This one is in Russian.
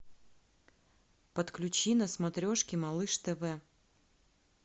подключи на смотрешке малыш тв